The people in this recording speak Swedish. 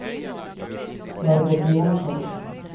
Margot Johnsson